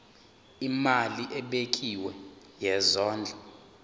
imali ebekiwe yesondlo